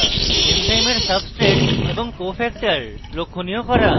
এনজাইমের substrate এবং cofactor লক্ষনীয় করা